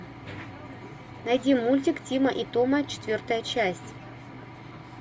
найди мультик тима и тома четвертая часть